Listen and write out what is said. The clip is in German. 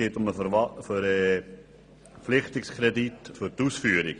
Beantragt ist ein Verpflichtungskredit für die Ausführung.